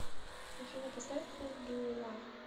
афина поставь ху ду ю лав